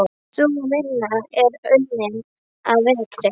Sú vinna er unnin að vetri.